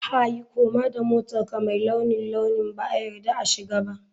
Hey! Koma da motarka mai launin launi ba a yarda a shiga ba.